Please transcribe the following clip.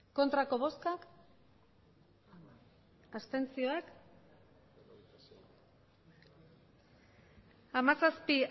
hirurogeita hamairu bai hamazazpi